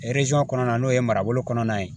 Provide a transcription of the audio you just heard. kɔnɔna na n'o ye marabolo kɔnɔna ye